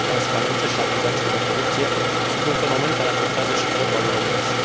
Lipsa de transparență și acuzațiile de corupție sunt un fenomen care afectează și fotbalul românesc.